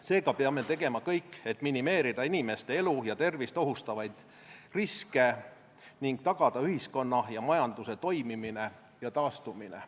Seega peame tegema kõik, et minimeerida inimeste elu ja tervist ohustavaid riske ning tagada ühiskonna ja majanduse toimimine ja taastumine.